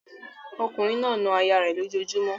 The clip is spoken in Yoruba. Ọkùnrin náà na aya rẹ̀ lójojúmọ́